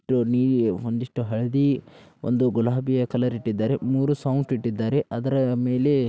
Tony ಒಂದಿಷ್ಟು ಹಳದಿ ಒಂದು ಗುಲಾಬಿಯ ಕಲರ್ ಇಟ್ಟಿದ್ದಾರೆ. ಮೂರೂ ಸೌಂಫ್ಟ್ ಇಟ್ಟಿದ್ದಾರೆ. ಅದರ ಮೇಲೆ --